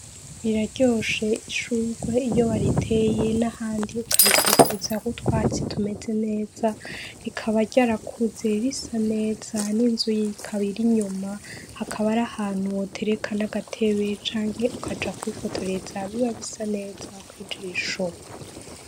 Riraryoshe ishurwe iyo wariteye n'ahandi ukarikikuza k'utwatsi tumeze neza , rikaba ryarakuze risa neza n'inzu ikaba irinyuma hakaba arahantu wotereka n'agatebe canke ukaja kwifotoreza biba bisa neza kw'ijisho.